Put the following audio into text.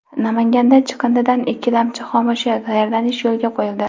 Namanganda chiqindidan ikkilamchi xomashyo tayyorlanish yo‘lga qo‘yildi.